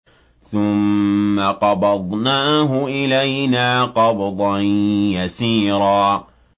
ثُمَّ قَبَضْنَاهُ إِلَيْنَا قَبْضًا يَسِيرًا